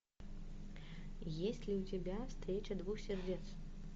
есть ли у тебя встреча двух сердец